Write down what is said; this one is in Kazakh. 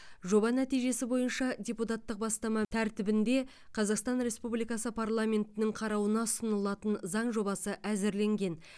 жоба нәтижесі бойынша депутаттық бастама тәртібінде қазақстан республикасы парламентінің қарауына ұсынылатын заң жобасы әзірленген